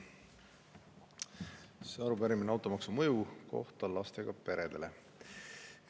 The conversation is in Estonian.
See arupärimine on automaksu mõju kohta lastega peredele.